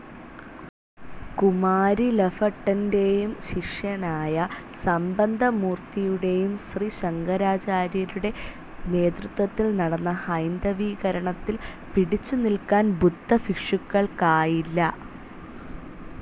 കുമാരിലഭട്ടൻ്റെയും ശിഷ്യനായ സംബന്ധമൂർത്തിയുടെയും ശ്രീശങ്കരാചാര്യരുടെ നേതൃത്വത്തിൽ നടന്ന ഹൈന്ദവീകരണത്തിൽ പിടിച്ചു നിൽക്കാൻ ബുദ്ധഭിഷുക്കുക്കൾക്കായില്ല